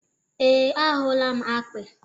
ee, ahụla m akpị.